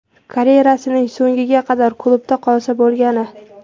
Karyerasining so‘ngiga qadar klubda qolsa bo‘lgani.